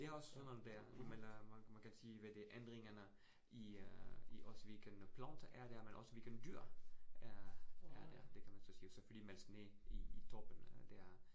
Det også sådan noget der man man kan sige hvad det ændringerne i øh i også, hvilken plante er der, men også hvilken dyr er er der. Det kan man så sige selvfølgelig man skal lige i i toppen dér